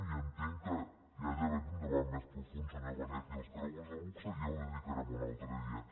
i ja entenc que hi ha d’haver un debat més profund senyor benet i als creuers de luxe ja hi dedicarem un altre dia